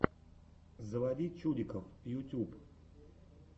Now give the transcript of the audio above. заводи чуддиков ютюб